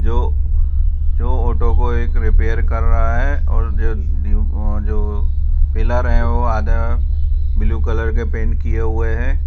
जो जो ऑटो को एक रिपेयर कर रहा है और जो पिलर हैं वो आधा ब्लू कलर के पेंट किए हुए हैं।